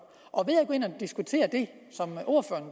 og diskutere det